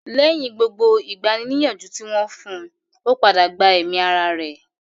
Lẹ́yìn gbogbo ìgbani-nìyànjú tí wọ́n fún un, ó padà gba ẹ̀mí ara rẹ̀